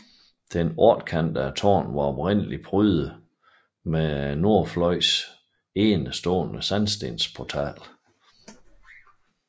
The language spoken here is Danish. Det ottekantede tårn var oprindeligt prydet med nordfløjens enestående sandstensportal